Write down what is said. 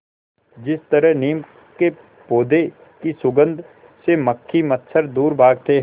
जिस तरह नीम के पौधे की सुगंध से मक्खी मच्छर दूर भागते हैं